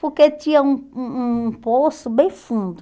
Porque tinha um um um poço bem fundo.